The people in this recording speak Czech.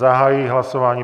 Zahajuji hlasování.